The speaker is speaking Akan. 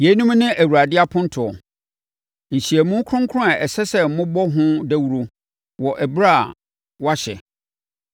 “ ‘Yeinom ne Awurade apontoɔ, nhyiamu kronkron a ɛsɛ sɛ mobɔ ho dawuro wɔ ɛberɛ a wɔahyɛ: